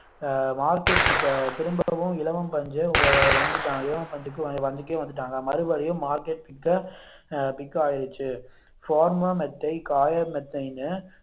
ஆஹ் market pick திரும்பவும் இலவம் பஞ்சு வந்துட்டா~ இலவம் பஞ்சுக்கே வந்துட்டாங்க மறுபடியும் market pick ஆஹ் pick ஆயிருச்சு ஃபார்மா மெத்தை காய மெத்தைனு